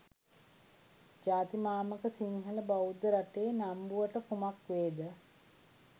ජාතිමාමක සිංහල බෞද්ධ රටේ නම්බුවට කුමක් වේද?